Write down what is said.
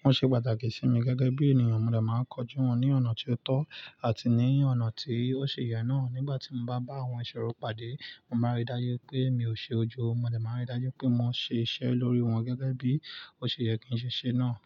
wọ́n ṣe pàtàkì sí mi gẹ́gẹ́ bí ènìyàn. Mo dà má ń kojú wọn ní ọ̀nà tí ó tọ́ àti ní ọ̀nà tí ó ṣi yẹ náà. Nígbà tí mo bá bá àwọn ìṣòro pàdé, mo máa rí dájú pé mi ò ṣe ojo, mo de máa ń rí dájú pé mo ṣe iṣẹ́ lórí wọn gẹ́gẹ́ bí ó ṣe yẹ kí ń ṣe náà.